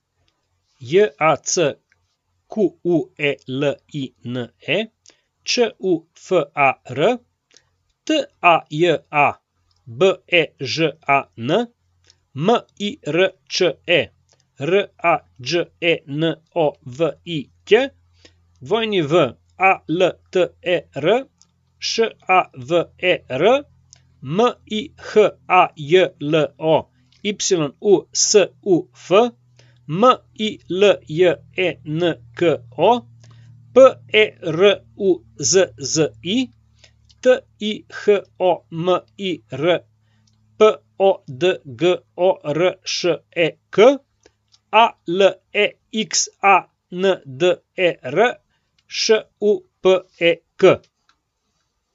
Jacqueline Čufar, Taja Bežan, Mirče Rađenović, Walter Šaver, Mihajlo Yusuf, Miljenko Peruzzi, Tihomir Podgoršek, Alexander Šupek.